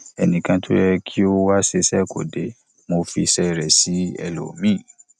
ẹnì kan tó yẹ kí ó wá ṣiṣẹ kò dé mo fi iṣẹ rẹ sí ẹlòmíì